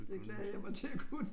Det glæder jeg mig til at kunne